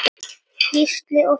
Gísli og Þóra.